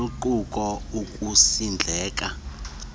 luquka ukusindleka ngokutya